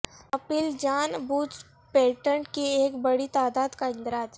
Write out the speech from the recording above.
apple جان بوجھ patent کی ایک بڑی تعداد کا اندراج